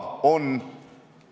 Hea ettekandja!